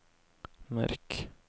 merk